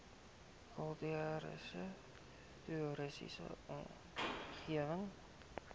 kultuurhis toriese omgewing